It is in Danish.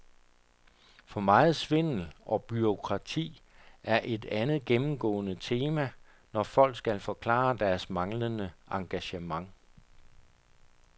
For meget svindel og bureaukrati er et andet gennemgående tema, når folk skal forklare deres manglende engagement.